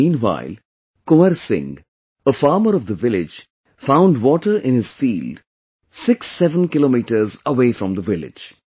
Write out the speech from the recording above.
Meanwhile, Kunwar Singh, a farmer of the village found water in his field 67 km away from the village